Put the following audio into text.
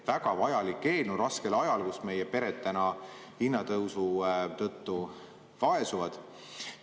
Väga vajalik eelnõu raskel ajal, kui meie pered hinnatõusu tõttu vaesuvad.